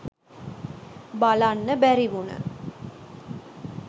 බලන්න බැරි වුන